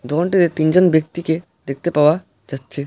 দোকানটিতে তিনজন ব্যক্তিকে দেখতে পাওয়া যাচ্ছে।